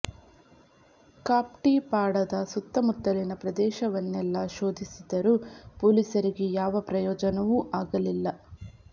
ಕಾಪ್ಟಿ ಪಡಾದ ಸುತ್ತಮುತ್ತಲಿನ ಪ್ರದೇಶವನ್ನೆಲ್ಲಾ ಶೋಧಿಸಿದರೂ ಪೊಲೀಸರಿಗೆ ಯಾವ ಪ್ರಯೋಜನವೂ ಆಗಲಿಲ್ಲ